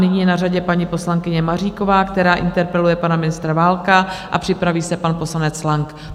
Nyní je na řadě paní poslankyně Maříková, která interpeluje pana ministra Válka, a připraví se pan poslanec Lang.